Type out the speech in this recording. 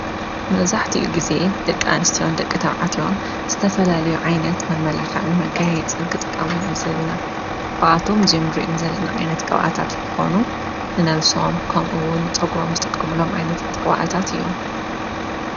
መውዛሕቲ እዩ ጊዜ ደቂ ኣንስትዮን ደቂ ተባዕትዮን ዝተፈላልዩ ዓይነት መመላኽዕን መጋይ የጽን ክጥቃሙንኣዘቢና ከኣቶም ዙም ርም ዘለኒ ዓይነት ቀብኣታት እንትኾኑ ንነብሶም ከምኡውን ንጸጉሮም ዝጥቆምሎም ዓይነት ጥዋዕታት እዮም።